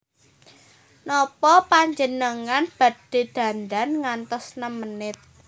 Nopo panjenengan badhe dandan ngantos nem menit